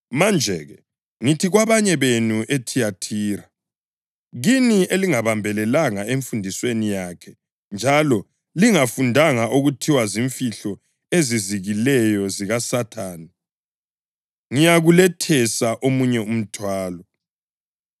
Manje-ke, ngithi kwabanye benu eThiyathira, kini elingabambelelanga emfundisweni yakhe njalo lingafundanga okuthiwa zimfihlo ezizikileyo zikaSathane, ‘Kangiyikulethesa omunye umthwalo,